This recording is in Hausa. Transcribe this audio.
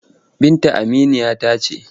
Binta aminiya ta ce.